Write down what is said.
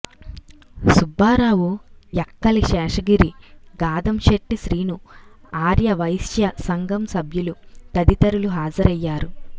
సుబ్బారావు యక్కలి శేషగిరి గాధంశెట్టి శ్రీను ఆర్యవైశ్య సంఘం సభ్యులు తదితరులు హాజరయ్యారు